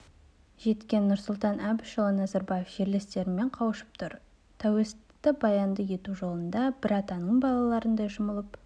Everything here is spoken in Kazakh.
жеткен нұрсұлтан әбішұлы назарбаев жерлестерімен қауышып тұр тәуелсіздікті баянды ету жолында бір атаның балаларындай жұмылып